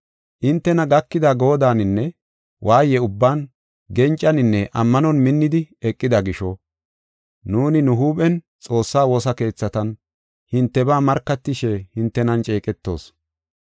Hintena gakida goodaninne waaye ubban gencaninne ammanon minnidi eqida gisho, nuuni nu huuphen Xoossaa woosa keethatan hintebaa markatishe hintenan ceeqetoos.